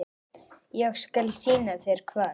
Ég skal sýna þér hvar.